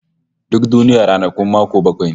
Duk duniya ranakun mako bakwai ne